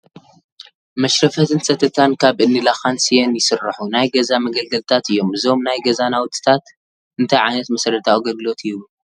መሽረፈትን ሰተታን ካብ እኒ ላኻን ስየን ይስርሑ ናይ ገዛ መገልገልታት እዮም፡፡ እዞም ናይ ገዛ ናውትታት እንታይ ዓይነት መሰረታዊ ኣገልግሎት ይህቡ?